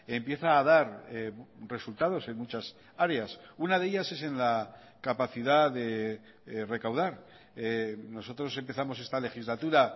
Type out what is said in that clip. empieza a dar resultados en muchas áreas una de ellas es en la capacidad de recaudar nosotros empezamos esta legislatura